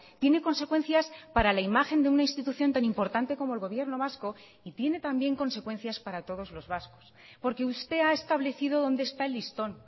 tiene consecuencias para la imagen de una institución tan importante como el gobierno vasco y tiene también consecuencias para todos los vascos porque usted ha establecido dónde está el listón